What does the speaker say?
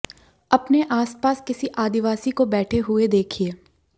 अपने आस पास किसी आदिवासी को बैठे हुए देखिये